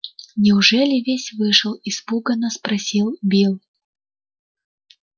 неужели весь вышел испуганно спросил билл